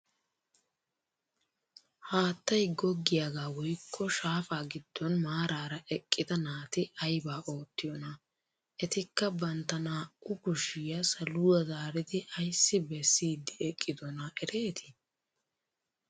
Haattay goggiyaagaa woykko shaafaa giddon maarara eqqida naati aybaa oottiyoonaa? etikka bantta naa"u kushshiyaa saluwaa zaaridi ayssi beessiidi eqqidoonaa eretii?